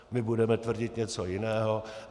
My budeme tvrdit něco jiného.